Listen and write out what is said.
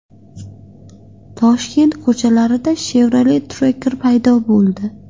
Toshkent ko‘chalarida Chevrolet Tracker paydo bo‘ldi.